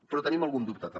però tenim algun dubte també